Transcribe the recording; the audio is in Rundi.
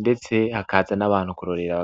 ndetse hakaza n'abantu kurorera.